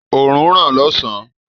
Òrùn ń ràn lósàn-án.